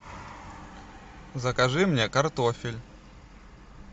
закажи мне картофель